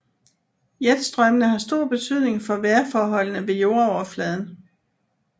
Jetstrømmene har stor betydning for vejrforholdene ved jordoverfladen